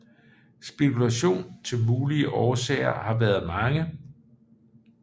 Spekulation til mulige årsager har været mange